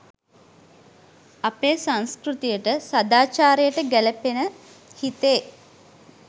අපේ සංස්කෘතියට සදාචාරයට ගැලපෙන හිතේ